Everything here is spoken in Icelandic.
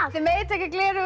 þið megið taka gleraugun